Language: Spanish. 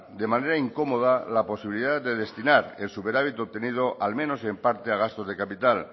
de manera incómoda la posibilidad de destinar el superávit obtenido al menos en parte a gastos de capital